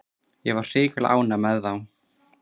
Ég var hrikalega ánægður með þá.